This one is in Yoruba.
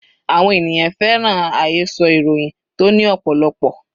Àwọn ènìyàn fẹ́ràn àhesọ ìròyìn tó ní ọ̀pọ̀lọpọ̀